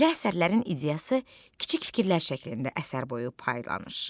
Belə əsərlərin ideyası kiçik fikirlər şəklində əsər boyu paylanır.